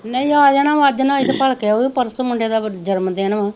ਨਹੀਂ ਆ ਜਾਣਾ ਓਹ ਅੱਜ ਨਾਂ ਆਈ ਤਾਂ ਭਲਕੇ ਆਊ ਪਰਸੋਂ ਮੁੰਡੇ ਦਾ ਜਨਮਦਿਨ ਵਾ,